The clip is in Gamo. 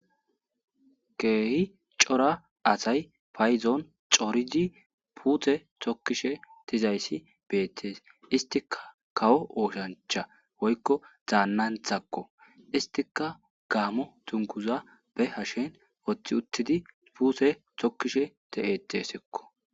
keehi cora asay fayzoon corizi puuthe tokkishe tizayssi beettees istika kawo ooshancha woykko zaannanthakko istika gaamo tunkuza be hashen woththi uttidi puute tokkishe te7etesekko